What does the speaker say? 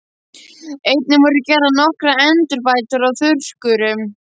Einnig voru gerðar nokkrar endurbætur á þurrkurum.